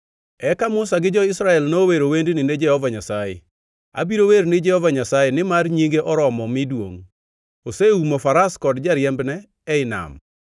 Eka Musa gi jo-Israel nowero wendni ni Jehova Nyasaye: “Abiro wer ni Jehova Nyasaye, nimar nyinge oromo mi duongʼ. Oseumo faras kod jariembne ei nam.